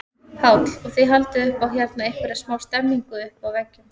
Páll: Og þið haldið upp á hérna einhverja smá stemningu uppi á veggjum?